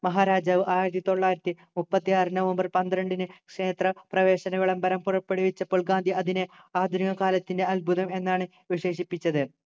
മഹാരാജാവ് ആയിരത്തി തൊള്ളായിരത്തി മുപ്പത്തി ആറു നവംബർ പന്ത്രണ്ടിന് ക്ഷേത്ര പ്രവേശന വിളംബരം പുറപ്പെടുവിച്ചപ്പോൾ ഗാന്ധി അതിനെ ആധുനിക കാലത്തിൻ്റെ അത്ഭുതം എന്നാണ് വിശേഷിപ്പിച്ചത്